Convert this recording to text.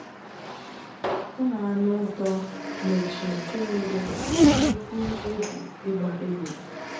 Ọ na-anụ ụtọ n’otu nke nwere nnukwu egwu ịgba égbè.